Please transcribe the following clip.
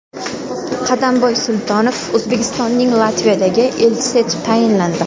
Qadamboy Sultonov O‘zbekistonning Latviyadagi elchisi etib tayinlandi.